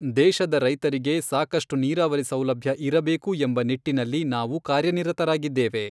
ದೇಶದ ರೈತರಿಗೆ ಸಾಕಷ್ಟು ನೀರಾವರಿ ಸೌಲಭ್ಯ ಇರಬೇಕು ಎಂಬ ನಿಟ್ಟಿನಲ್ಲಿ ನಾವು ಕಾರ್ಯನಿರತರಾಗಿದ್ದೇವೆ.